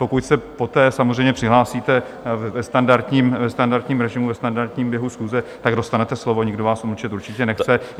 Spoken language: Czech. Pokud se poté samozřejmě přihlásíte ve standardním režimu, ve standardním běhu schůze, tak dostanete slovo, nikdo vás umlčet určitě nechce.